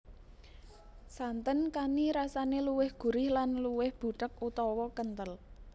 Santen kani rasané luwih gurih lan luwih butheg utawa kenthel